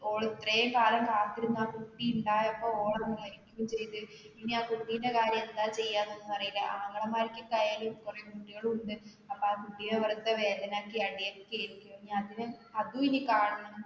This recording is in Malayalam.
ഓള് ഇത്രെക്കാലം കാത്തിരുന്ന് കുട്ടി ഉണ്ടായപ്പോൾ ഓള് മരിക്കുകയും ചെയ്ത് ഇനി ആ കുട്ടിടെ കാര്യം എന്താ ചെയന്നൊന്നും അറിയില്ല ആങ്ങളമാർക്കൊക്കെയാലും കുറേ കുട്ടികളുമുണ്ട് അപ്പൊ ആ കുട്ടിയെ